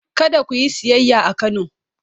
Kada ku yi siyayya a Kano!